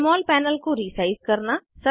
जमोल panel को resize करना